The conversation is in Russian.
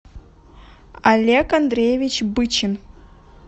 олег андреевич бычин